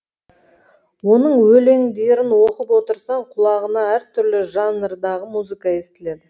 оның өлеңдерін оқып отырсаң құлағыңа әртүрлі жанрдағы музыка естіледі